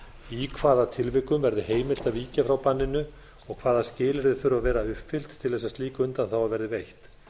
í hvaða tilvikum verði heimilt að víkja frá banninu og hvaða skilyrði þurfa að uppfyllt til þess að slík undanþága verði veitt